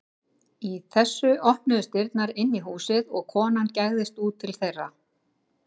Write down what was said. Í þessu opnuðust dyrnar inn í húsið og kona gægðist út til þeirra.